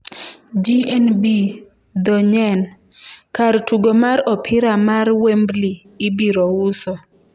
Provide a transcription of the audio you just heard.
GNB dho NYEN: Kar tugo mar opira mar Wembley ibiro uso